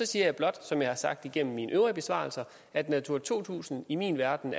siger blot som jeg har sagt det igennem mine øvrige besvarelser at natura to tusind i min verden